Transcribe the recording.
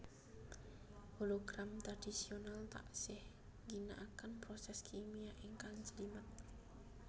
Hologram tradhisional taksih ngginakaken proses kimia ingkang njlimet